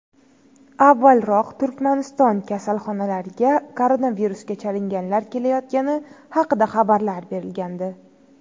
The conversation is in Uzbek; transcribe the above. Avvalroq Turkmaniston kasalxonalariga koronavirusga chalinganlar kelayotgani haqida xabarlar berilgandi .